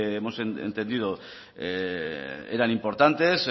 hemos entendido eran importantes